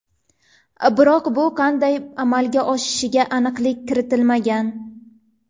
Biroq bu qanday amalga oshishiga aniqlik kiritilmagan.